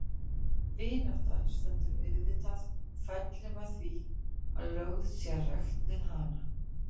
Vinátta stendur auðvitað og fellur með því að lögð sé rækt við hana.